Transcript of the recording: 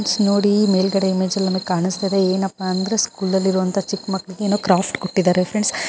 Friends ನೋಡಿ ಮೇಲ್ಗಡೆ image ಅಲ್ಲಿ ನಮಗೆ ಕಾಣಸ್ತಾಇದೆ ಏನಪ್ಪಾ ಅಂದ್ರೆ ಸ್ಕೂಲ್ . ಅಲ್ಲಿ ಇರೋ ಚಿಕ್ಕಮಕ್ಕಳಿಗೆ ಏನೋ ಕ್ರಾಫ್ಟ್ ಕೊಟ್ಟಿದಾರೆ ಫ್ರೆಂಡ್ಸ್ .